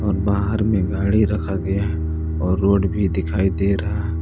बाहर में गाडी रखा गया है और रोड़ भी दिखाई दे रहा है।